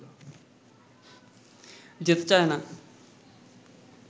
যেতে চায় না